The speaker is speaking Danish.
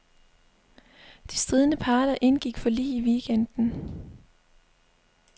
De stridende parter indgik forlig i weekenden.